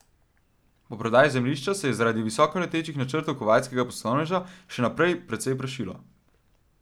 Po prodaji zemljišča se je zaradi visokoletečih načrtov kuvajtskega poslovneža še naprej precej prašilo.